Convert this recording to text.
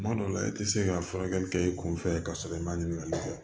Kuma dɔ la i tɛ se ka furakɛli kɛ i kun fɛ ka sɔrɔ i ma ɲininkali kɛ